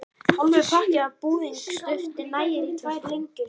Hálfur pakki af búðingsdufti nægir í tvær lengjur.